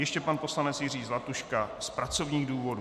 Ještě pan poslanec Jiří Zlatuška z pracovních důvodů.